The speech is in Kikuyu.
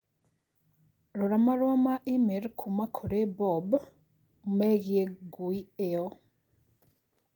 Rora marũa ma i-mīrū kuuma kũrĩ Bob megiĩ ngui ĩyo